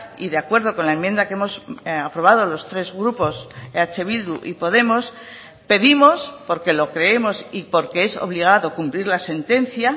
y de acuerdo con la enmienda que hemos aprobado los tres grupos eh bildu y podemos pedimos porque lo creemos y porque es obligado cumplir la sentencia